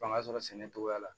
Fanga sɔrɔ sɛnɛcogoya la